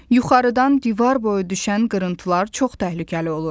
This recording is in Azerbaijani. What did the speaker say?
Yuxarıdan divar boyu düşən qırıntılar çox təhlükəli olur.